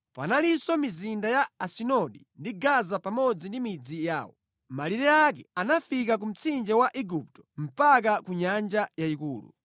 Panalinso mizinda ya Asidodi ndi Gaza pamodzi ndi midzi yawo. Malire ake anafika ku mtsinje wa Igupto mpaka ku Nyanja Yayikulu.